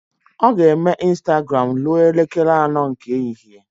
Ọ ga-eme Ịnstagram ruo elekere anọ nke ehihie